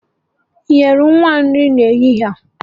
Ị nyere nwa nri n'ehihie a.?